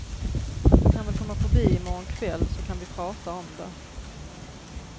Du kan väl komma förbi i morgon kväll, så kan vi prata om det.